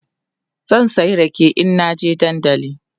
zan saya rake in na je dandali